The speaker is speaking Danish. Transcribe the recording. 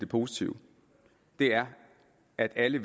positive er at alle